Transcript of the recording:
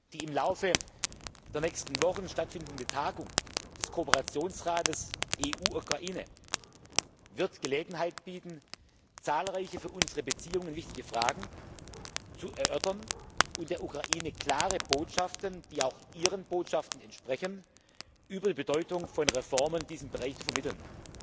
Die im Laufe der nächsten Wochen stattfindende Tagung des Kooperationsrates EU Ukraine wird die Gelegenheit bieten, zahlreiche für unsere Beziehungen wichtige Fragen zu erörtern und der Ukraine klare Botschaften, die auch ihren Botschaften entsprechen, über die Bedeutung von Reformen in diesem Bereich zu vermitteln.